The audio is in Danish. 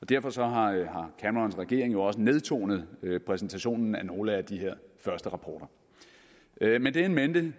derfor har camerons regering jo også nedtonet præsentationen af nogle af de her første rapporter med det in mente